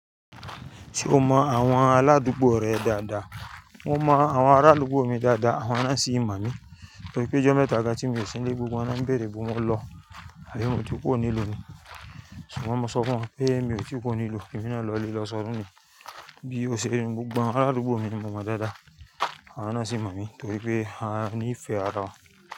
Ṣé o mọ àwọn aládùúgbò rẹ dáadáa? Mo mọ àwọn ará àdúgbò mi dáadáa, àwọn náà sì ń mọ̀ mí torípé ijọ́ mẹ́ta gán tí miò sin ín lé gbogbo wọn lo'ń bèèrè ibó n mo lọ? Àbí mo ti kuro nílu nì? Ṣùgbọ́n mo sọ fún wọn pé mi ò ti kurò ní lu, èmi náà lọ ilé lọ sọdun ni. Bí ó ṣe rí nu, gbogbo àwọn ará àdúgbò mi ni mo mọ dáadáa àwọn náà sì mọ̀ mí torípé a ní ìfẹ́ ara wa.